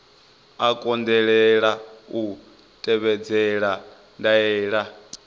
a kundelwa u tevhedzela ndaela